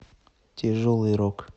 тяжелый рок